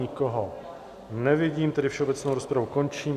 Nikoho nevidím, tedy všeobecnou rozpravu končím.